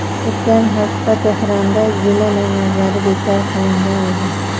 O‘tgan hafta Tehronda juma namozlari bekor qilingan edi.